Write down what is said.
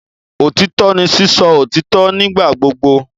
Otitọ ni sisọ otitọ nigbagbogbo